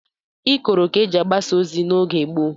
Ikoro ka eji agbasa ozi n'oge gboo